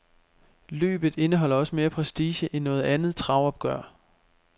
Løbet indeholder også mere prestige end noget andet travopgør.